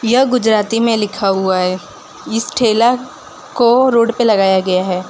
यह गुजराती में लिखा हुआ है इस ठेला को रोड पे लगाया गया है।